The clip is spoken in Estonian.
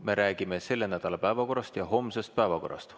Me räägime selle nädala päevakorrast ja homsest päevakorrast.